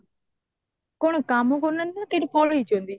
କଣ କମ କରୁନାହାନ୍ତି ନା ସେଇଠୁ ପଳେଇଚନ୍ତି